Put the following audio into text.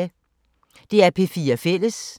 DR P4 Fælles